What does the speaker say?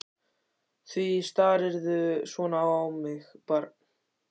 Því starirðu svona á mig barn?